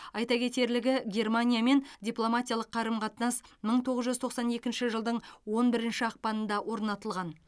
айта кетерлігі германиямен дипломатиялық қарым қатынас мың тоғыз жүз тоқсан екінші жылдың он бірінші ақпанында орнатылған